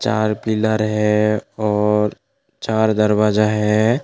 लाल pillar है और चार दरवाजा है।